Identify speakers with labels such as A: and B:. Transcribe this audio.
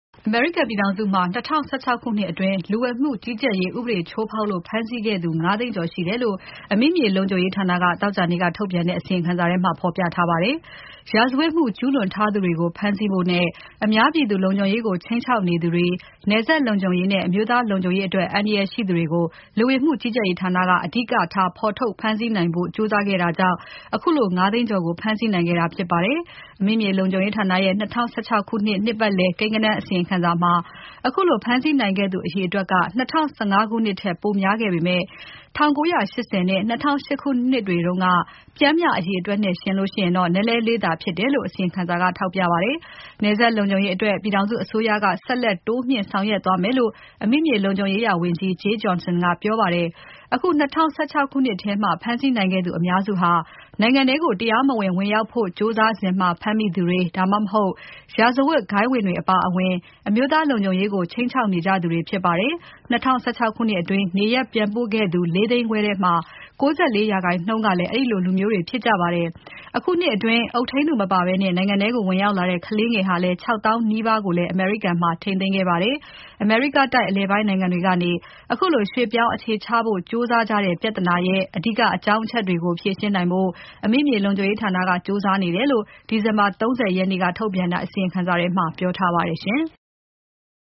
A: အမေရိကန်ပြည်ထောင်စုမှာ ၂၀၁၆ ခုနှစ်အတွင်း ဥပဒေချိုးဖောက်လို့ ဖမ်းဆီးခဲ့သူ ၅ သိန်းကျော်ရှိတယ်လို့ အမိမြေလုံခြုံရေးဌာနက သောကြာနေ့က ထုတ်ပြန်တဲ့ အစီရင်ခံစာထဲမှာ ဖော်ပြထားပါတယ်။ ရာဇဝတ်မှုကျုးလွန်ထားသူတွေကို ဖမ်းဆီးဖို့နဲ့ အများပြည်သူလုံခြုံရေးကို ခြိမ်းခြောက်နေသူတွေ၊ နယ်စပ်လုံခြုံရေးနဲ့ အမျိုးသား လုံခြုံရေး အတွက် အန္တရာယ်ရှိသူတွေကို လူဝင်မှုကြီးကြပ်ရေးဌာနက အဓိကထား ဖော်ထုတ်ဖမ်းဆီးနိုင်ဖို့ ကြိုးစားခဲ့တာကြောင့် ခုလို ၅ သိန်းကျော်ကို ဖမ်းဆီးနိုင်ခဲ့တာဖြစ်ပါတယ်။ အမိမြေလုံခြုံရေးဌာနရဲ့ ၂၀၁၆ ခုနှစ် နှစ်ပါတ်လည်ကိန်းဂဏန်းအစီရင်ခံစာမှာ ခုလိုဖမ်းဆီးနိုင်ခဲ့သူအရေအတွက်က ၂၀၁၅ ခုနှစ်ထက် ပိုများခဲ့ပေမဲ့ ၁၉၈၀ နဲ့ ၂၀၀၈ ခုနှစ်တွေတုန်းက ပျှမ်းမျှ အရေအတွက်နဲ့ယှဉ်ရင် နည်းနည်းလေးသာဖြစ်တယ်လို့ အစီရင်ခံစာက ထောက်ပြပါတယ်။ နယ်စပ်လုံခြုံရေးအတွက် ပြည်ထောင်စုအစိုးရက ဆက်ပြီးတိုးမြှင့် ဆောင်ရွက်သွားမယ်လို့ အမိမြေလုံခြုံရေးရာဝန်ကြီး Jeh Johnson ကပြောပါတယ်။ အခု ၂၀၁၆ နှစ်ထဲ ဖမ်းဆီးနိုင်ခဲ့သူ အများစုဟာ နိုင်ငံထဲကို တရားမဝင် ဝင်ရောက်ဖို့ ကြိုးစားစဉ်မှာ ဖမ်းမိသူတွေ၊ ဒါမှမဟုတ် ရာဇဝတ်ဂိုဏ်းဝင်တွေအပါအဝင် အမျိုးသားလုံခြုံရေးကို ခြိမ်းခြောက်နေကြသူတွေဖြစ်ကြပါတယ်။ ၂၀၁၆ အတွင်း နေရပ်ပြန်ပို့ခဲ့သူ ၄ သိန်းခွဲထဲမှာ ၉၄% ကလည်း အဲဒီလိုလူမျိုးတွေဖြစ်ကြပါတယ်။ အခုနှစ်အတွင်း အုပ်ထိန်းသူမပါဘဲ နိုင်ငံထဲ ဝင်ရောက်လာတဲ့ ကလေးငယ် ၆ သောင်းနီးပါးကိုလည်း အမေရိကန်မှာ ထိန်းသိမ်းခဲ့ပါတယ်။ အမေရိကတိုက်အလယ်ပိုင်းနိုင်ငံတွေကနေ ခုလိုရွှေ့ပြောင်း အခြေချဖို့ကြိုးစားကြတဲ့ ပြဿနာရဲ့အဓိကအကြောင်းအချက်တွေကို ဖြေရှင်းနိုင်ဖို့ အမိမြေလုံခြုံရေးဌာနက ကြိုးစားနေတယ်လို့ ဒီဇင်ဘာ ၃၀ ရက်နေ့က ထုတ်ပြန်တဲ့ အစီရင်ခံစာထဲမှာ ပြောထားပါတယ်။